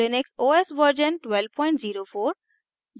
ubuntu Linux os version 1204